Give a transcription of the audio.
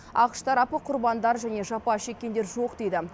ақш тарапы құрбандар және жапа шеккендер жоқ дейді